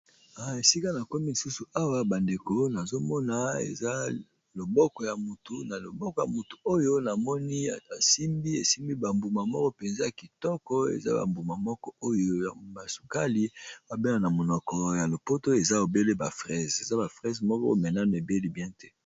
Esika na komi lisusu awa bandeko nazomona eza loboko ya mutu oyo na moni esimbi esimbi bambuma moko mpenza kitoko eza bambuma moko oyo ya basukali babele na monoko ya lopoto eza ebele ba frase eza ba fraise moko menano ebeli bien te.